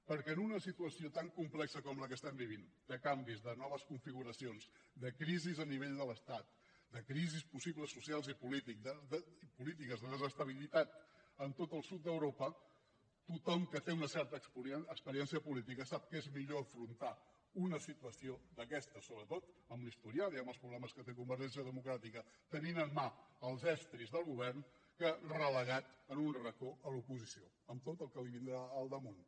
perquè en una situació tan complexa com la que estem vivint de canvis de noves configuracions de crisi a nivell de l’estat de crisis possibles socials i polítiques de desestabilitat a tot el sud d’europa tothom que té una certa experiència política sap que és millor afrontar una situació d’aquestes sobretot amb l’historial i amb els problemes que té convergència democràtica tenint en mà els estris del govern que relegat en un racó a l’oposició amb tot el que li vindrà al damunt